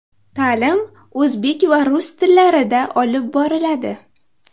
Ta’lim o‘zbek va rus tillarida olib boriladi.